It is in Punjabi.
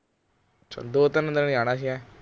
ਅੱਛਾ ਦੋ ਤਿੰਨ ਦਿਨ ਜਾਣਾ ਸੀ ਹੈਂ